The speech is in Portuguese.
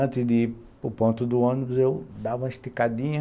Antes de ir para o ponto do ônibus, eu dava uma esticadinha